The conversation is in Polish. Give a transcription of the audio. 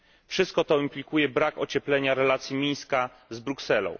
Wszystko to implikuje brak ocieplenia relacji Mińska z Brukselą.